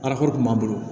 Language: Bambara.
Araforo kun b'a bolo